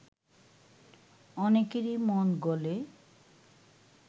অনেকেরই মন গলে